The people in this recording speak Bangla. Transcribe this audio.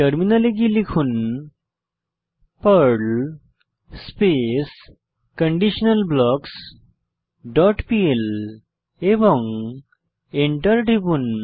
টার্মিনালে গিয়ে লিখুন Perl space conditional blocks dot PL এবং এন্টার টিপুন